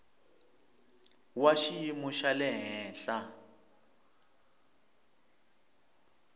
wa xiyimo xa le henhla